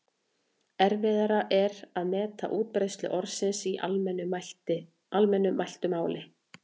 Erfiðara er að meta útbreiðslu orðsins í almennu mæltu máli.